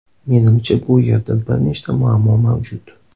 Menimcha bu yerda bir nechta muammo mavjud.